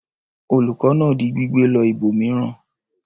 Olùkọ́ náà di gbígbẹ lọ ibòmíràn?